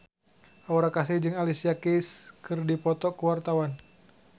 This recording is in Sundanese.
Aura Kasih jeung Alicia Keys keur dipoto ku wartawan